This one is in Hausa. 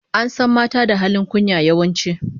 An san mata da halin kunya, yawanci